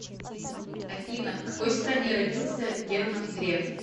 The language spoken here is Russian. афина в какой стране родился герман греф